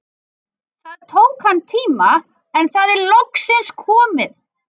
Það tók hann tíma, en það er loksins komið!